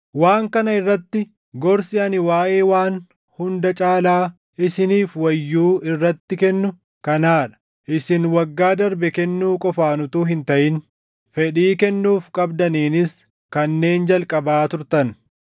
Waan kana irratti gorsi ani waaʼee waan hunda caalaa isiniif wayyuu irratti kennu kanaa dha. Isin waggaa darbe kennuu qofaan utuu hin taʼin fedhii kennuuf qabdaniinis kanneen jalqabaa turtan.